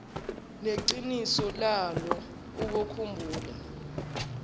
neqiniso lwalo ubokhumbula